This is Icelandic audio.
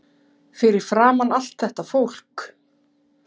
Fyrir framan allt þetta fólk.